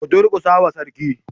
Ku durƙusa wa Sarki.